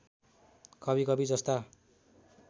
कभी कभी जस्ता